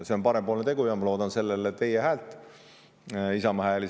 See on parempoolne tegu ja ma loodan sellele teie häält, Isamaa hääli.